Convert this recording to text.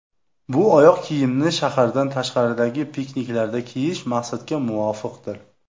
Bu oyoq kiyimni shahardan tashqaridagi pikniklarda kiyish maqsadga muvofiqdir.